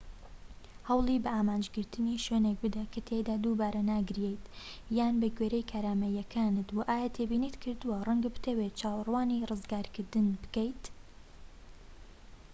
هەوڵی بە ئامانجگرتنی شوێنێک بدە کە تیایدا دووبارە ناگیرێیت یان بەگوێرەی کارامەییەکانت و ئایا تێبینیت کردووە ڕەنگە بتەوێت چاوەڕوانی ڕزگارکردن بکەیت